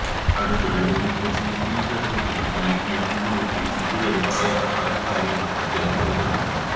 അടുത്തിടെ ഒരു പ്രസിദ്ധീകരണത്തിനു നല്കിയ അഭിമുഖത്തില് ഇതുവരെ പറയാത്ത പല കാര്യങ്ങളും അദ്ദേഹം വെളിപ്പെടുത്തി